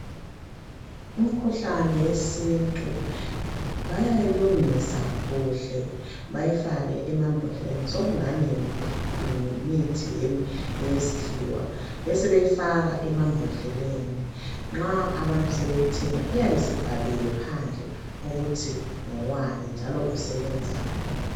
Imikhuhlane yesintu bayayilungisa kuhle bayifake emambodleleni sokungani yimithi yesikhiwa besebeyifaka emambodleleni. Nxa abantu sebeyithenga iyabesibhaliwe phandle ukuthi ngowani.